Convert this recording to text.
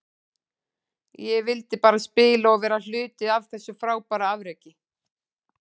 Ég vildi bara spila og vera hluti af þessu frábæra afreki.